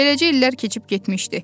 Beləcə illər keçib getmişdi.